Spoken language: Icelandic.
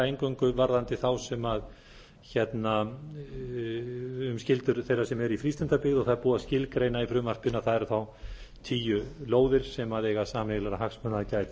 eingöngu varðandi þá sem um skyldur þeirra sem eru í frístundabyggð og það er búið að skilgreina í frumvarpinu að það eru þá tíu lóðir sem eiga sameiginlegra hagsmuna